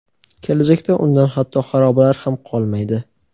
kelajakda undan hatto xarobalar ham qolmaydi.